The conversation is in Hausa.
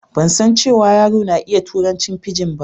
Ban san cewa yaro na ya iƴa turancin fijin ba.